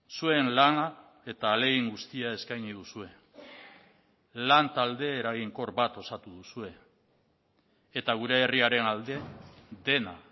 zuen lana eta ahalegin guztia eskaini duzue lan talde eraginkor bat osatu duzue eta gure herriaren alde dena